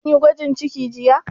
Kin yi gwajin ciki jiya?